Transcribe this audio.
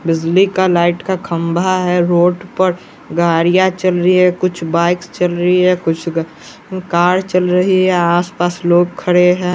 बिजली का लाइट का खंभा है रोड पर गाड़िया चल री है कुछ बाइक्स चल री है कुछ गा कार चल रही है आसपास लोग खड़े हैं।